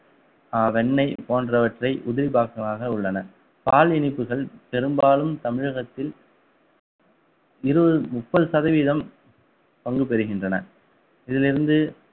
அஹ் வெண்ணெய் போன்றவற்றை உதிரிபாகமாக உள்ளன பால் இனிப்புகள் பெரும்பாலும் தமிழகத்தில் இருபது முப்பது சதவீதம் பங்கு பெறுகின்றன இதிலிருந்து